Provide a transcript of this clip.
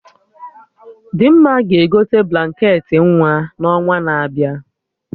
Dimma ga-egote blanket ị nwa n'ọnwa na-abịa